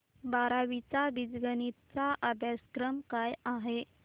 बारावी चा बीजगणिता चा अभ्यासक्रम काय आहे